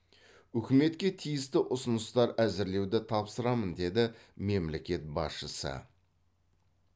үкіметке тиісті ұсыныстар әзірлеуді тапсырамын деді мемлекет басшысы